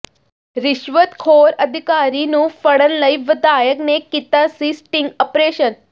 ਰਿਸ਼ਵਤਖੋਰ ਅਧਿਕਾਰੀ ਨੂੰ ਫੜਨ ਲਈ ਵਧਾਇਕ ਨੇ ਕੀਤਾ ਸੀ ਸਟਿੰਗ ਆਪਰੇਸ਼ਨ